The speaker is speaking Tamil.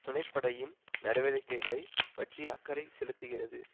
துணைப்படையின் நடவடிக்கைகளை பற்றி அக்கறை செலுத்துகிறது